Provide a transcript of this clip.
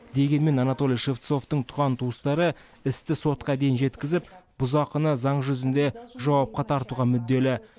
дегенмен анатолий шевцовтың туған туыстары істі сотқа дейін жеткізіп бұзақыны заң жүзінде жауапқа тартуға мүдделі